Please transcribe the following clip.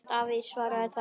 Davíð svaraði þá